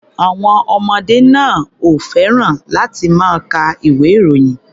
Àwọn ọmọdé náà ò fẹ́ràn láti máa ka ìwé-ìròyìn.